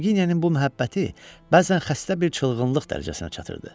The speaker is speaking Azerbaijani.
Knyaginyanın bu məhəbbəti bəzən xəstə bir çılğınlıq dərəcəsinə çatırdı.